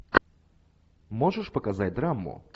можешь показать драму